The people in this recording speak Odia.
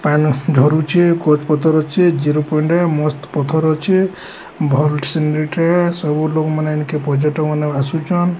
ପାନି ଝରୁଛି କତ୍ପୋତରୁଛି ଜିରୋ ପଏଣ୍ଟ ମସ୍ତ୍ ପଥର ଅଛି ଭଲ ସିନରୀ ଟେ ଶବୁ ଲୋକ ମାନେ ପର୍ଯ୍ୟଟନ ମାନେ ଆସୁଛନ।